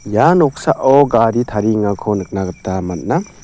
ia noksao gari tariengako nikna gita man·a.